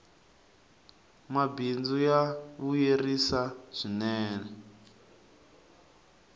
mabindzu ya vuyerisa swinee